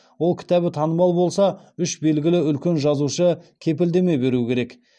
ол кітабы танымал болса үш белгілі үлкен жазушы кепілдеме беру керек